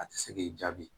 A tɛ se k'i jaabi